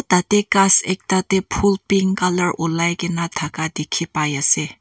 tate ghas ekta te phool pink colour ulai kena thaka dikhi pai ase.